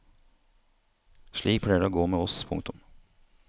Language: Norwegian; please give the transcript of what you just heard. Slik pleier det å gå med oss. punktum